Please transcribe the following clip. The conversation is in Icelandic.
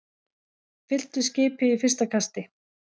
Fylltu skipið í fyrsta kasti